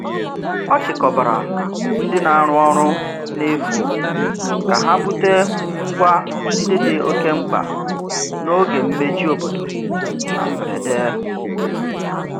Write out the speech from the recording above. Ọ chịkọbara ndị na-arụ ọrụ n'efu ka ha bute ngwa ndị dị oke mkpa n'oge mmechi obodo na mberede.